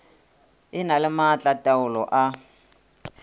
e na le maatlataolo a